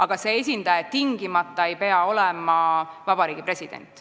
Aga see esindaja ei pea tingimata olema vabariigi president.